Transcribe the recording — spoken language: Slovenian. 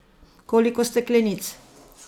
Koliko steklenic?